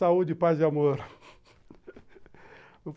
Saúde, paz e amor